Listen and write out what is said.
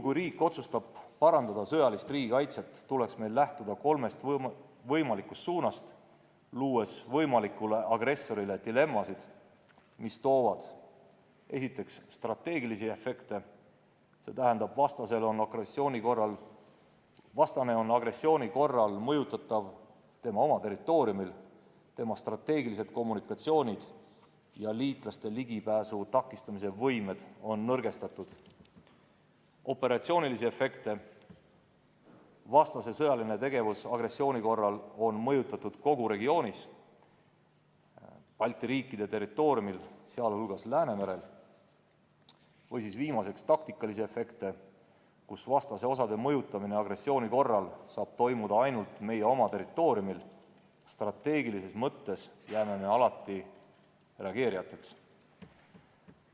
Kui riik otsustab sõjalist riigikaitset parandada, tuleks meil lähtuda kolmest võimalikust suunast, luues võimalikule agressorile dilemmasid, mis toovad, esiteks, strateegilisi efekte – st vastane on agressiooni korral mõjutatav tema oma territooriumil, tema strateegilised kommunikatsioonid ja liitlaste ligipääsu takistamise võimed on nõrgestatud; teiseks, operatsioonilisi efekte – st vastase sõjaline tegevus agressiooni korral on mõjutatud kogu regioonis, Balti riikide territooriumil, sh Läänemerel; ja viimaseks, taktikalisi efekte – st vastase osade mõjutamine agressiooni korral saab toimuda ainult meie oma territooriumil, strateegilises mõttes jääme alati reageerijateks.